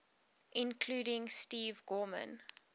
including steve gorman